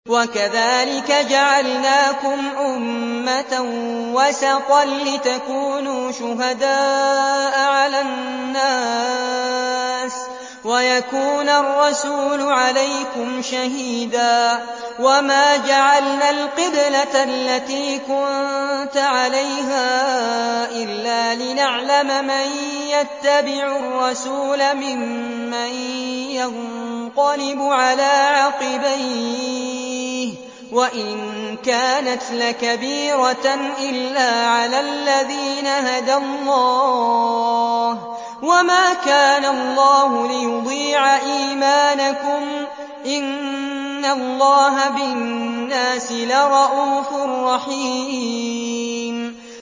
وَكَذَٰلِكَ جَعَلْنَاكُمْ أُمَّةً وَسَطًا لِّتَكُونُوا شُهَدَاءَ عَلَى النَّاسِ وَيَكُونَ الرَّسُولُ عَلَيْكُمْ شَهِيدًا ۗ وَمَا جَعَلْنَا الْقِبْلَةَ الَّتِي كُنتَ عَلَيْهَا إِلَّا لِنَعْلَمَ مَن يَتَّبِعُ الرَّسُولَ مِمَّن يَنقَلِبُ عَلَىٰ عَقِبَيْهِ ۚ وَإِن كَانَتْ لَكَبِيرَةً إِلَّا عَلَى الَّذِينَ هَدَى اللَّهُ ۗ وَمَا كَانَ اللَّهُ لِيُضِيعَ إِيمَانَكُمْ ۚ إِنَّ اللَّهَ بِالنَّاسِ لَرَءُوفٌ رَّحِيمٌ